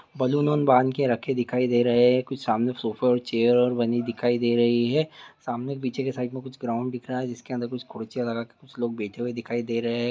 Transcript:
Balloon उन बांध के रखे दिखाई दे रहे हैं कुछ सामने सोफ़ा और चेयर रखे हुए दिखाई दे रहे हैं सामने पीछे के साइड मे कुछ क्राउन दिख रहा है जिसके अंदर कुर्सियाँ लगाके के कुछ लोग बैठे हुए दिखाई दे रहे हैं।